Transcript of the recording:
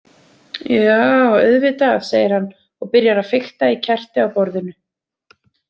Já, auðvitað, segir hann og byrjar að fikta í kerti á borðinu.